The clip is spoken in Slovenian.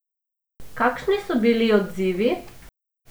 Kakšni so bili odzivi?